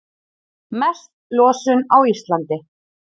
Mest losun á Íslandi